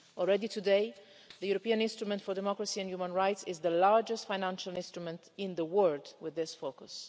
Already today the European Instrument for Democracy and Human Rights is the largest financial instrument in the world with this focus.